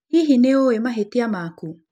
Hihi nĩ ũĩ mahĩtia maku?